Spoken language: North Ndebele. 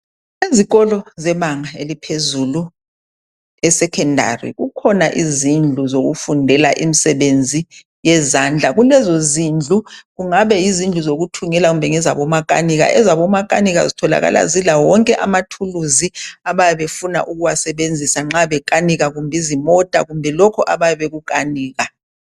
Izikolo zebanga laphezulu esekhendali kukhona izindlu zokufundela imisebenzi yezandla kulezo zindlu kungabe yizindlu zokuthungela ezinye ngezabomakanika ezabomakanika ezitholakala ezitholakala zilamathulizi wezimota kumbe lokho abayabe bekukanika.